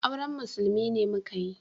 Auren musulmi ne muka yi